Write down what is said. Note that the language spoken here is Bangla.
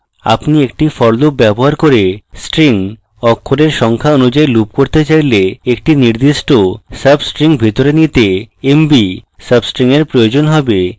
আপনি একটি for loop ব্যবহার করে string অক্ষরের সংখ্যা অনুযায়ী loop করতে চাইলে একটি নির্দিষ্ট mb string ভিতরে নিতে mb substring এর প্রয়োজন হবে